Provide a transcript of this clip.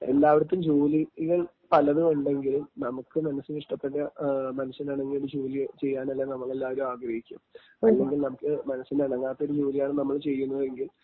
എല്ലാവർക്കും ജോലികള്‍ പലതുമുണ്ടെങ്കിലും നമുക്ക് മനസ്സിനിഷ്ടപ്പെട്ട, മനസ്സിനിണങ്ങിയ ഒരു ജോലി ചെയ്യാനല്ലേ നമ്മളെല്ലാരും ആഗ്രഹിക്കൂ...അല്ലെങ്കില്‍ നമ്മക്ക് മനസ്സിന് ഇണങ്ങാത്ത ഒരു ജോലിയാണ് നമ്മൾ ചെയ്യുന്നത് എങ്കിൽ..